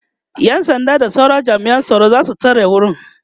ƴan sanda da sauran jami'an tsaro zasu tsare wurin